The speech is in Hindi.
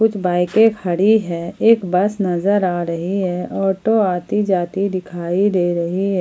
बाईकें के खड़ी है एक बस नजर आ रही है और दो आदमी दिखाई दे रही है।